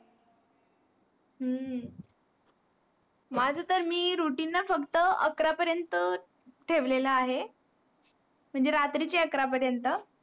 माझं तर मी routine फक्त अकरा पर्यंत ठेवलेला आहे. म्हणजे रात्रीचे अकरा पर्यंत.